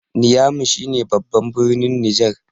niyami shi ne babban birnin Niger